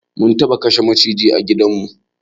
Mun taɓa kashe maciji a gidan mu